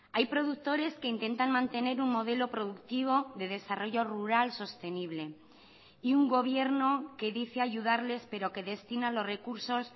hay productores que intentan mantener un modelo productivo de desarrollo rural sostenible y un gobierno que dice ayudarles pero que destina los recursos